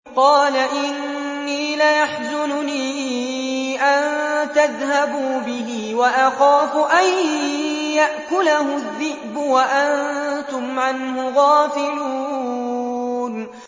قَالَ إِنِّي لَيَحْزُنُنِي أَن تَذْهَبُوا بِهِ وَأَخَافُ أَن يَأْكُلَهُ الذِّئْبُ وَأَنتُمْ عَنْهُ غَافِلُونَ